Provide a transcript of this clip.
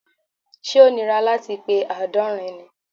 Ṣẹ́ ó nira láti pe àádọ́rin ni?